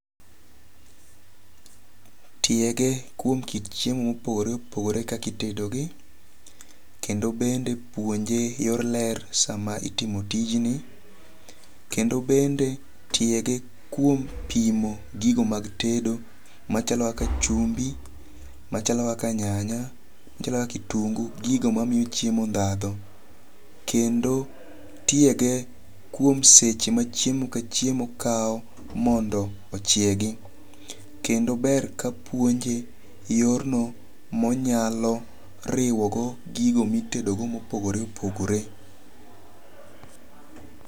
Tiege kuom kit chiemo mopogore opogore kaka itedo gi. Kendo bende puonje yor ler sama itimo tijni. Kendo bende tiege kuom pimo gigo mag tedo machalo kaka chumbi, machalo kaka nyanya, machalo kaka kitungu. Gigo mamiyo chiemo dhadho. Kendo tiege kuom seche ma chiemo ka chiemo kaw mondo ochiegi. Kendo ber kapuonje yorno monyalo riwogo gigo mitedogo mopogore mopogore.